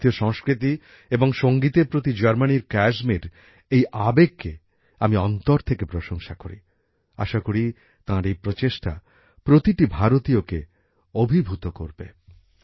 ভারতীয় সংস্কৃতি এবং সঙ্গীতের প্রতি জার্মানির ক্যায়সমির এই আবেগকে আমি অন্তর থেকে প্রশংসা করি। আশা করি তাঁর এই প্রচেষ্টা প্রতিটি ভারতীয়কে অভিভূত করবে।